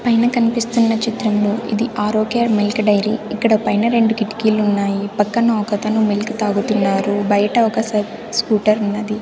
పైన కనిపిస్తున్నా చిత్రంలో ఇది ఆరోగ్య మిల్క్ డైరీ ఇక్కడ పైన రెండు కిటికీలు ఉన్నాయి పక్కన ఒకతను మిల్క్ తాగుతున్నారు బైట ఒక స స్కూటర్ ఉన్నది.